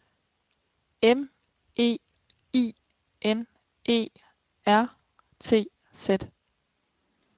M E I N E R T Z